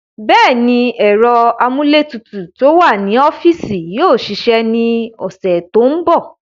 Bẹ́ẹ̀ni, ẹ̀rọ amúlétutù tó wà ní ọ́fíìsì yóò ṣiṣẹ́ ní ọ̀sẹ̀ tó ń bọ̀.